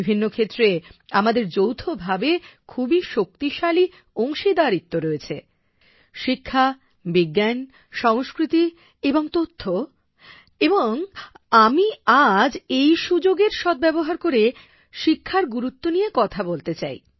বিভিন্নক্ষেত্রে আমাদের যৌথভাবে খুবই শক্তিশালী অংশীদারিত্ব রয়েছে শিক্ষা বিজ্ঞান সংস্কৃতি তথ্য এবং আমি আজ এই সুযোগের সদ্ব্যবহার করে শিক্ষার গুরুত্ব নিয়ে কথা বলতে চাই